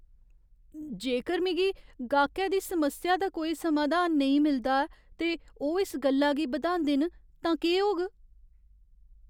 जेकर मिगी गाह्‌कै दी समस्या दा कोई समाधान नेईं मिलदा ऐ ते ओह् इस गल्ला गी बधांदे न तां केह् होग?